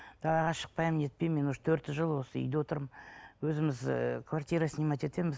далаға шықпаймын не етпеймін мен уже төрт жыл осы үйде отырмын өзіміз ііі квартира снимать етеміз